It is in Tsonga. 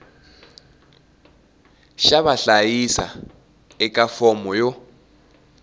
xa vahlayisiwa eka fomo yo